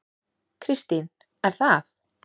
Kristín: Er það?